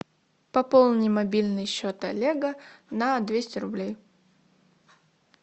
пополни мобильный счет олега на двести рублей